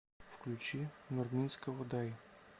включи нурминского дай